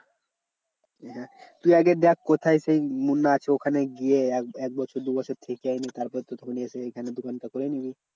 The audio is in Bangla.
সেটা তুই আগে দেখ কোথায় সেই মুন্না আছে ওখানে গিয়ে এক এক বছর দু বছর থেকে তারপর তো চলে এসে এখানে দোকানটা করে নিবি।